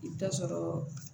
I bɛ taa sɔrɔ